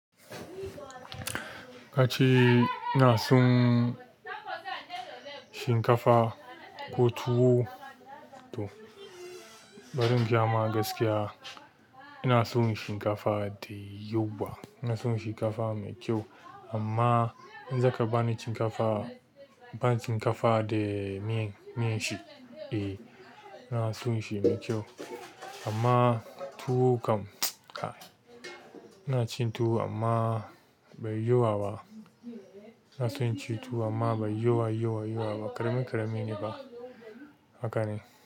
Kace ina son shinkafa ko tuwo to, bari in gaya ma gaskiya. Ina son shinkafa dayawa, ina son shinkafa mai kyau amma in zaka bani shinkafa, bani shinkafa da miyan, miyan shi eh. Ina son shi mai kyau amma tuwo kam mts. Ah, ina cin tuwo amma bai yawa ba. Ina son inci tuwo amma bai yawa yawa yawa ba, ƙarami ƙarami ne fa. Haka ne.